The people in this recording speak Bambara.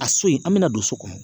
A so in an bɛna don so kɔnɔ